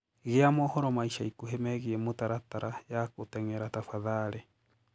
gia mohoro ma ĩca ĩkũhĩ meegĩe mũtaratara ya guteng'era tafadhalĩ